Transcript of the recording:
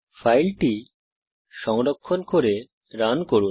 ফাইলটি সংরক্ষণ করে রান করুন